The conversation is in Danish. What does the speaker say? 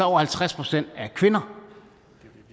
over halvtreds procent kvinder